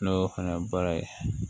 N'o fana ye baara ye